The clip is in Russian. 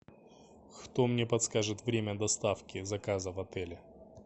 кто мне подскажет время доставки заказа в отеле